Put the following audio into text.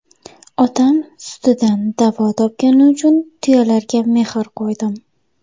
"Otam sutidan davo topgani uchun tuyalarga mehr qo‘ydim."